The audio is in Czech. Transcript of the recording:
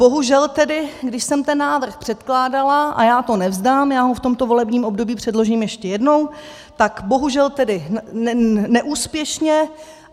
Bohužel tedy, když jsem ten návrh předkládala - a já to nevzdám, já ho v tomto volebním období předložím ještě jednou - tak bohužel tedy neúspěšně.